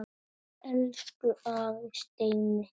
Elsku afi Steini.